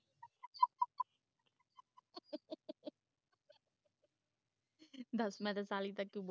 ਦਸ ਮੈਂ ਤੇ ਸਾਲੀ ਤਕ